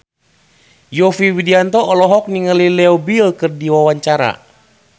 Yovie Widianto olohok ningali Leo Bill keur diwawancara